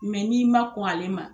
Mɛ n'i ma kɔn ale ma